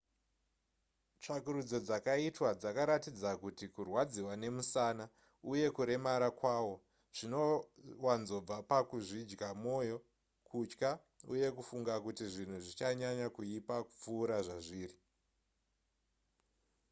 tsvakurudzo dzakaitwa dzakaratidza kuti kurwadziwa nemusana uye kuremara kwawo zvinowanzobva pakuzvidya mwoyo kutya uye kufunga kuti zvinhu zvichanyanya kuipa kupfuura zvazviri